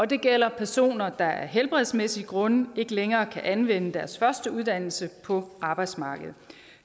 det gælder personer der af helbredsmæssige grunde ikke længere kan anvende deres første uddannelse på arbejdsmarkedet